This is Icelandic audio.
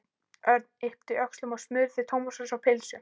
Örn yppti öxlum og smurði tómatsósu á pylsu.